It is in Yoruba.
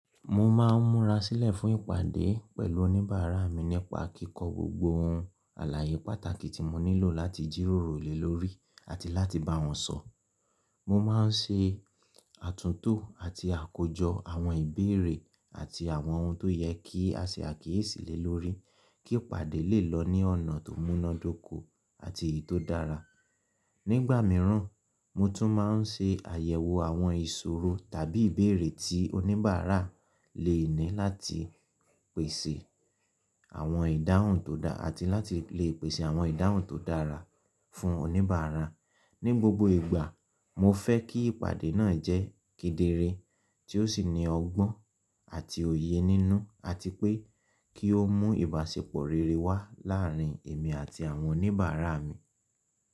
Mo máa ń múra sílẹ̀ fún ìpàdé pẹ̀lú oníbàárà mi nípa kíkọ gbogbo ohun àlàyé pàtàkì tí mo nílò láti jíróro le lórí àti láti bá wọn sọ̀. Mo máa ń ṣe àtúntò àti àkójọ àwọn ìbéèrè àti àwọn ohun tó yẹ kí a ṣe àkíyèsí le lórí kí ìpàdé lè lọ ní ọ̀nà tó múnádóko àti eyi tó dára. Nígbà mìíràn, mo tún máa ń ṣe àyẹ̀wò àwọn ìṣòro tàbí ìbéèrè tí oníbàárà lè ní láti pèsè àwọn ìdáhùn tó dá àti láti lè pèsè àwọn ìdáhùn tó dára fún oníbàárà. Ni gbogbo ìgbà, mo fẹ́ kí ìpàdé náà jẹ́ kedere tí ó sì ní ọgbọ́n àti òye nínú àti pé kí ó mú ìbáṣepọ̀ rere wá láàárín èmi àti àwọn oníbàárà mi.